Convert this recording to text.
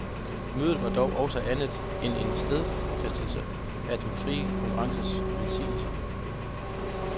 Mødet var dog også andet end en stadsfæstelse af den fri konkurrences velsignelser.